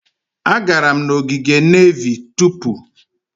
Agara m n'ogige nevy tupu.